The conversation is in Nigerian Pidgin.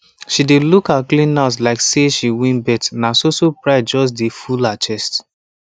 she dey look her clean house like say she win bet na soso pride just de full her chest